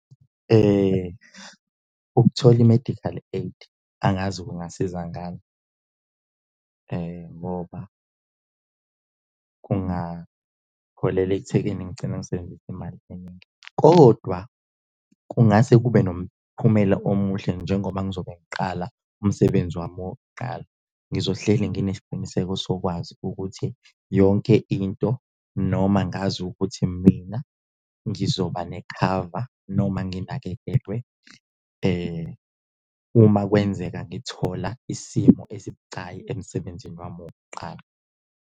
Ukuthola i-medical aid angazi kungasiza ngani ngoba kungaholela ekuthekeni ngigcine ngisebenzise imali eningi, kodwa kungase kube nomphumela omuhle njengoba ngizobe ngiqala umsebenzi wami wokuqala. Ngizohleli nginesiqiniseko sokwazi ukuthi yonke into, noma ngazi ukuthi mina ngizoba nekhava noma nginakekelwe uma kwenzeka ngithola isimo esibucayi emsebenzini wami wokuqala.